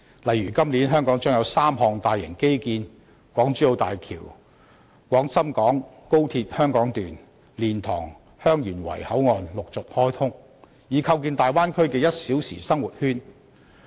例如今年香港將有3項大型基建落成，港珠澳大橋、廣深港高速鐵路、蓮塘/香園圍口岸將陸續開通，以構建大灣區"一小時生活圈"。